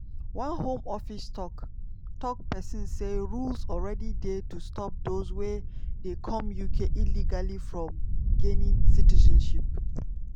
one home office tok-tok pesin say: "rules already dey to stop dose wey dey come uk illegally from gaining citizenship.